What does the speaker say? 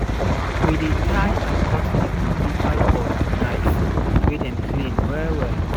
we dey tie and cut the umbilical cord with knife wey dem clean well well